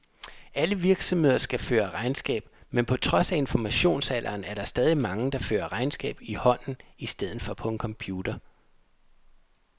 Alle virksomheder skal føre regnskab, men på trods af informationsalderen, er der stadig mange, der fører regnskab i hånden i stedet for på en computer.